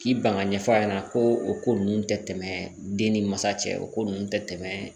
K'i ban ka ɲɛfɔ a ɲɛna ko o ko ninnu tɛ tɛmɛ den ni masa cɛ o ko ninnu tɛ tɛmɛ